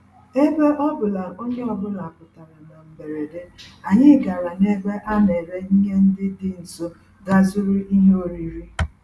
Ebe ọ bụ na onye ọ bụla pụtara na mberede, anyị gàrà n'ebe a nere ihe ndị dị nso gaa zụrụ ihe oriri